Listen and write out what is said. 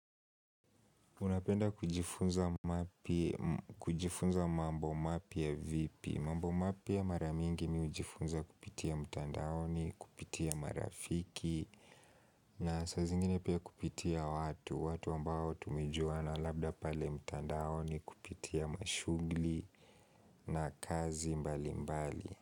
Unapenda kujifunza mapi, mm kujifunza mambo mapi ya vipi. Mambo mapya ya maramingi mi hujifunza kupitia mtandaoni, kupitia marafiki na saa zingine pia kupitia watu, watu ambao tumejuana labda pale mtandaoni kupitia mashughli na kazi mbalimbali.